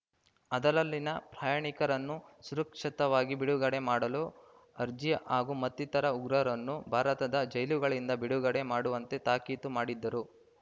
ಅದರಲ್ಲಿನ ಪ್ರಯಾಣಿಕರನ್ನು ಸುರಕ್ಷಿತವಾಗಿ ಬಿಡುಗಡೆ ಮಾಡಲು ಅರ್ಜಿ ಹಾಗೂ ಮತ್ತಿತರ ಉಗ್ರರನ್ನು ಭಾರತದ ಜೈಲುಗಳಿಂದ ಬಿಡುಗಡೆ ಮಾಡುವಂತೆ ತಾಕೀತು ಮಾಡಿದ್ದರು